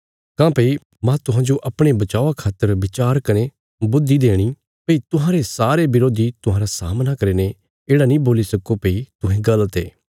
काँह्भई मांह तुहांजो अपणे बचावा खातर विचार कने बुद्धि देणी भई तुहांरे सारे बरोधी तुहांरा सामना करीने येढ़ा नीं बोल्ली सक्को भई तुहें गल़त ये